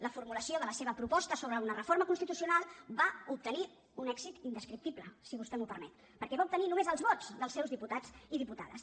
la formulació de la seva proposta sobre una reforma constitucional va obtenir un èxit indescriptible si vostè m’ho permet perquè va obtenir només els vots dels seus diputats i diputades